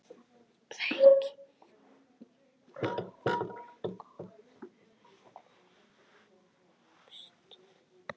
Þau kynni báru góðan ávöxt.